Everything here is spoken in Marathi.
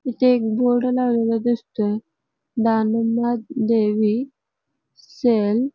इथे एक बोर्ड लावलेला दिसतोय दानमादेवी सेल .